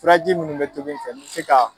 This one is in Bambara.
Firaji min bɛ tobi n fɛ mɛ se ka